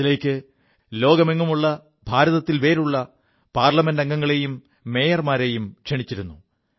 അതിലേക്ക് ലോകത്തെങ്ങുമുള്ളക ഭാരതത്തിൽ വേരുള്ള പാർലമെന്റംഗങ്ങളെയും മേയർമാരെയും ക്ഷണിച്ചിരുു